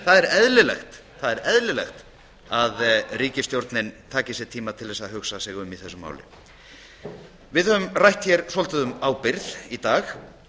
það er eðlilegt það er eðlilegt að ríkisstjórnin taki sér tíma til þess að hugsa sig um í þessu máli við höfum rætt hér svolítið um ábyrgð í dag